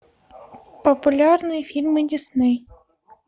популярные фильмы дисней